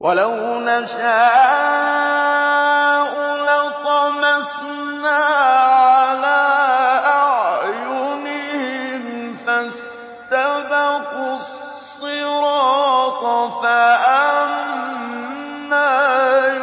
وَلَوْ نَشَاءُ لَطَمَسْنَا عَلَىٰ أَعْيُنِهِمْ فَاسْتَبَقُوا الصِّرَاطَ فَأَنَّىٰ